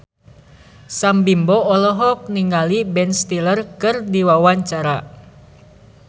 Sam Bimbo olohok ningali Ben Stiller keur diwawancara